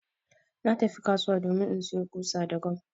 Na tafi kasuwa domin insayo ƙusa da gam